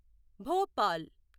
Bhopal